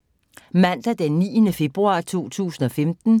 Mandag d. 9. februar 2015